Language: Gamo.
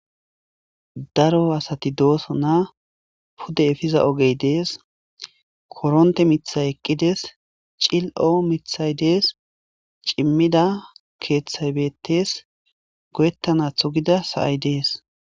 Daro asati dooso naa pude efiza ogey dees koronte mithay eqqides cil7o mithay dees cimmida keeththay beettes goyettana thu gida sa7ay dees